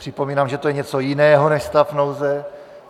Připomínám, že to je něco jiného než stav nouze.